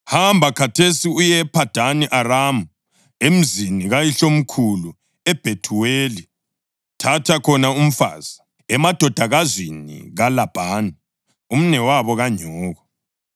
Hamba khathesi uye ePhadani Aramu, emzini kayihlomkhulu uBhethuweli. Thatha khona umfazi, emadodakazini kaLabhani, umnewabo kanyoko.